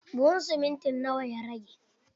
Buhun siminti na wa ya rage?